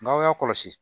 N'aw y'a kɔlɔsi